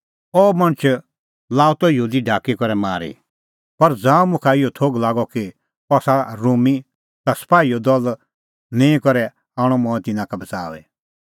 अह मणछ लाअ त यहूदी ढाकी करै मारी पर ज़ांऊं मुखा इहअ थोघ लागअ कि अह आसा रोमी ता सपाहीओ दल निंईं करै आणअ मंऐं तिन्नां का बच़ाऊई